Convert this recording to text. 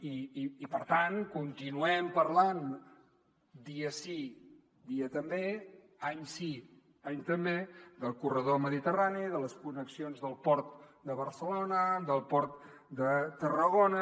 i per tant continuem parlant dia sí dia també any sí any també del corredor mediterrani de les connexions del port de barcelona del port de tarragona